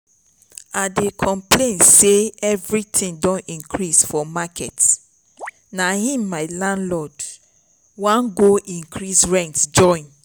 i dey complain say everything don increase for market na im my landlord wan go increase rent join